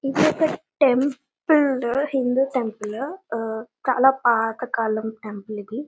ఇది ఒక temple Hindu temple ఆ చాలా పాత కాలం టెంపుల్ ఇది .